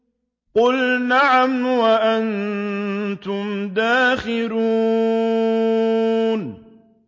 قُلْ نَعَمْ وَأَنتُمْ دَاخِرُونَ